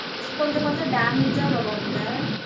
கொஞ்சம் கொஞ்சம் damage ஆ வரும் அதுல